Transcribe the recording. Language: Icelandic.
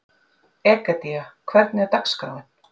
Egedía, hvernig er dagskráin?